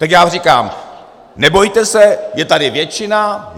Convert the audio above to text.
Tak já vám říkám, nebojte se, je tady většina.